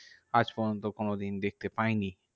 আজ পর্যন্ত কোনোদিন দেখতে পাইনি।